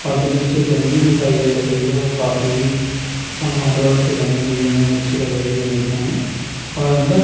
और जो निचे जमीन दिखाई दे रही है वो काफी ही संगमरमर से बनी हुई जमीन अच्छी लग रही है देखने में और अंदर--